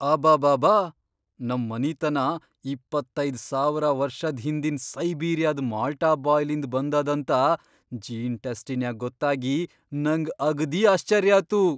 ಅಬಾಬಾಬಾ ನಂ ಮನಿತನಾ ಇಪ್ಪತ್ತೈದ್ ಸಾವರ ವರ್ಷದ್ ಹಿಂದಿನ್ ಸೈಬೀರಿಯಾದ್ ಮಾಲ್ಟಾ ಬಾಯ್ಲಿಂದ್ ಬಂದದಂತ ಜೀನ್ ಟೆಸ್ಟಿನ್ಯಾಗ್ ಗೊತ್ತಾಗಿ, ನಂಗ್ ಅಗ್ದಿ ಆಶ್ಚರ್ಯಾತು.